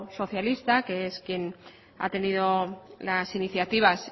socialista que es quien ha tenido las iniciativas